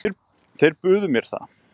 Þeir buðu mér það.